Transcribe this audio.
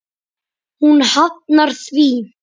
Hún hafnar því.